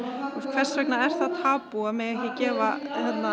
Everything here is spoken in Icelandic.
hvers vegna er það tabú að gefa